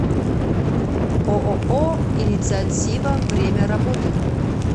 ооо инициатива время работы